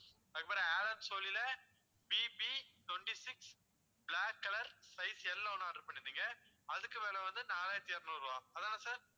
அதுக்கப்பறம் ஆலன் சோலில BB twenty-six black color size L ஒண்ணு order பண்ணிருந்தீங்க அதுக்கு விலை வந்து நாலாயிரத்து இருநூறு ருபா அதானே sir